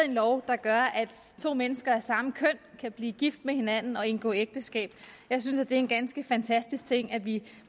en lov der gør at to mennesker af samme køn kan blive gift med hinanden indgå ægteskab jeg synes det er en ganske fantastisk ting at vi